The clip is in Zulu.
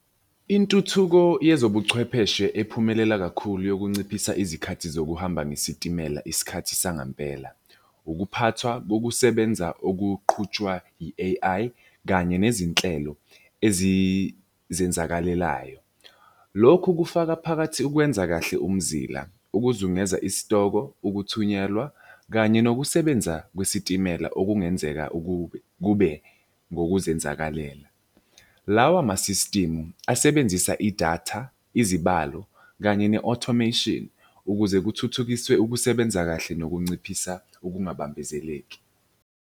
Intuthuko yezobuchwepheshe ephumelela kakhulu yokunciphisa izikhathi zokuhamba ngesitimela isikhathi sangempela. Ukuphathwa kokusebenza okuqhutshwa i-A_I kanye nezinhlelo ezizenzakalelayo. Lokhu kufaka phakathi ukwenza kahle umzila, ukuzungeza isitoko, ukuthunyelwa kanye nokusebenza kwesitimela okungenzeka ukube kube ngokuzenzakalela. Lawa ama-system asebenzisa idatha, izibalo, kanye ne-automation ukuze kuthuthukiswe ukusebenza kahle nokunciphisa ukungabambezeleki.